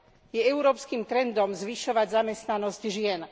Je európskym trendom zvyšovať zamestnanosť žien.